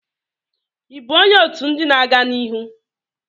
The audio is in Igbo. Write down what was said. Ị bụ onye otu ndị na-aga n'ihu""?